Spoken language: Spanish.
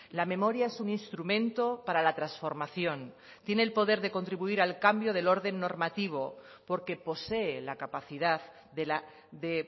la memoria es un instrumento para la transformación tiene el poder de contribuir al cambio del orden normativo porque posee la capacidad de